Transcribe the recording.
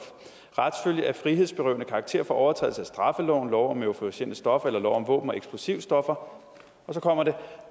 retsfølge af frihedsberøvende karakter for overtrædelse af straffeloven lov om euforiserende stoffer eller lov om våben og eksplosivstoffer og så kommer det